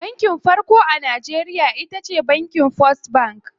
Banki farko a Najeriya shine bankin first.